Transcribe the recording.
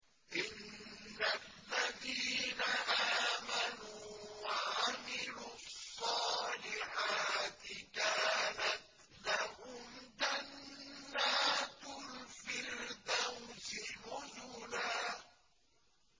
إِنَّ الَّذِينَ آمَنُوا وَعَمِلُوا الصَّالِحَاتِ كَانَتْ لَهُمْ جَنَّاتُ الْفِرْدَوْسِ نُزُلًا